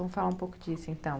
Vamos falar um pouco disso, então.